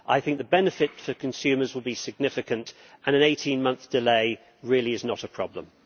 I think the benefit for consumers will be significant and an 18 month delay really is not a problem.